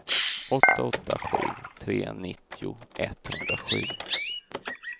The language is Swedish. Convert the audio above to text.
åtta åtta sju tre nittio etthundrasju